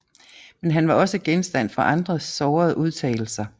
Men han var også genstand for andres sårende udtalelser